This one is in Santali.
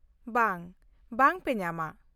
ᱵᱟᱝ, ᱵᱟᱝ ᱯᱮ ᱧᱟᱢᱟ᱾